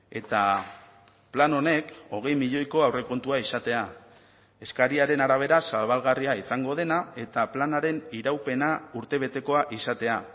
eta plan honek hogei milioiko aurrekontua izatea eskariaren arabera zabalgarria izango dena eta planaren iraupena urtebetekoa izatea